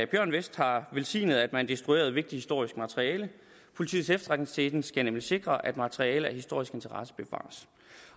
bjørn westh har velsignet at man destruerede vigtigt historisk materiale politiets efterretningstjeneste skal nemlig sikre at materiale af historisk interesse bevares